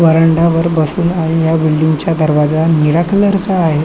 व्हरांड्यावर बसून आहे या बिल्डिंग चा दरवाजा निळ्या कलर चा आहे.